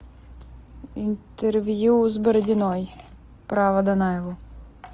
интервью с бородиной про водонаеву